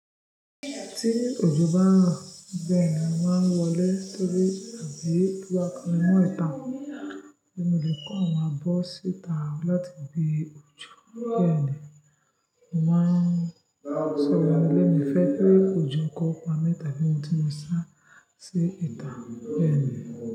Tí òjò bá ń rọ̀ bẹ́ẹ̀ ni màá ń wọlé torí àbí bí kò bá kan mi mọ́ ìta ni mo lè kó wọn bọ́ síta láti ibi òjò. Bẹ́ẹ̀ ni màá sọ wọ́n wọlé ní ìfẹ́ pé òjò kópa mẹ́ta bí mo ti máa sá sí ìta bẹ́ẹ̀ ni.